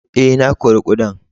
Eh, na kori kudan.